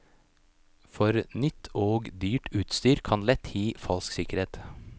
For nytt og dyrt utstyr kan lett gi falsk sikkerhet.